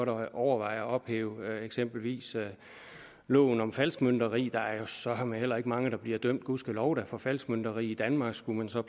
godt overveje at ophæve eksempelvis loven om falskmøntneri der er jo søreme heller ikke mange der bliver dømt gudskelov da for falskmønteri i danmark skulle man så